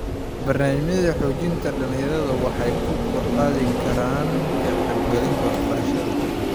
Barnaamijyada xoojinta dhalinyarada waxay kor u qaadi karaan ka qaybgalka waxbarashada.